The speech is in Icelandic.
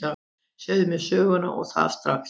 Segðu mér söguna, og það strax.